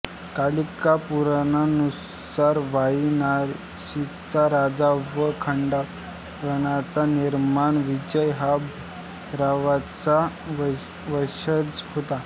कालिकापुराणानुसार वारणासीचा राजा व खांडवनाचा निर्माता विजय हा भैरवाचा वंशज होता